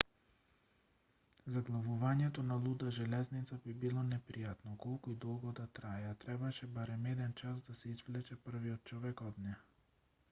заглавувањето на луда железница би било непријатно колку и долго да трае а требаше барем еден час за да се извлече првиот човек од неа